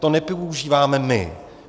To nepoužíváme my.